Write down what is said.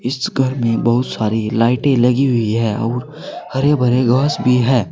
इस घर में बहुत सारी लाइटें लगी हुई है और हरे भरे घास भी हैं।